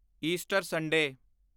Easter Sunday